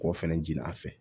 K'o fɛnɛ ji a fɛ